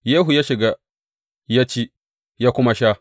Yehu ya shiga ya ci, ya kuma sha.